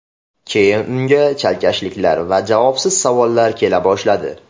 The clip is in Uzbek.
Keyin unga chalkashliklar va javobsiz savollar kela boshladi.